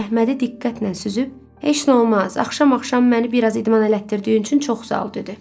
Əhmədi diqqətlə süzüb, heç nə olmaz, axşam-axşam məni biraz idman elətdirdiyin üçün çox sağ ol, dedi.